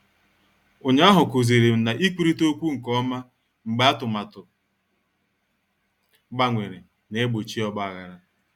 Ụnyaahụ kụzirim na-ikwurita okwu nke ọma mgbe atụmatụ gbanwere na-egbochi ogbaghara.